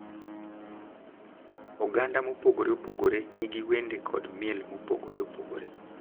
Oganda mopogore opogore nigi wende kod miel mopogore opogore .